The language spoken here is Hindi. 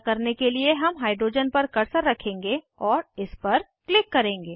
ऐसा करने के लिए हम हाइड्रोजन पर कर्सर रखेंगे और इस पर क्लिक करेंगे